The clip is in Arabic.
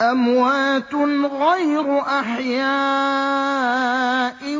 أَمْوَاتٌ غَيْرُ أَحْيَاءٍ ۖ